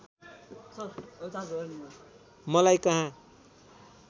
मलाई कहाँ